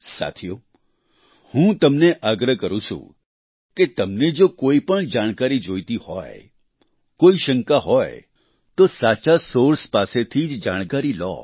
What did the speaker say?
સાથીઓ હું તમને આગ્રહ કરું છું કે તમને જો કોઈ પણ જાણકારી જોઈતી હોય કોઈ શંકા હો તો સાચા સોર્સ પાસેથી જ જાણકારી લો